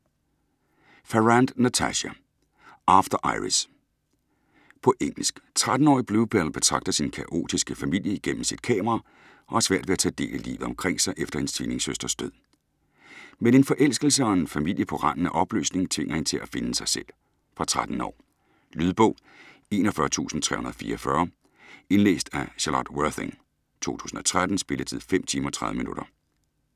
Farrant, Natasha: After Iris På engelsk. 13-årige Bluebell betragter sin kaotiske familie gennem sit kamera og har svært ved at tage del i livet omkring sig efter hendes tvillingesøsters død. Men en forelskelse og en familie på randen af opløsning tvinger hende til at finde sig selv. Fra 13 år. Lydbog 41344 Indlæst af Charlotte Worthing, 2013. Spilletid: 5 timer, 30 minutter.